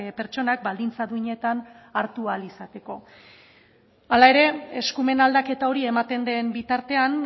pertsonak baldintza duinetan hartu ahal izateko hala ere eskumen aldaketa hori ematen den bitartean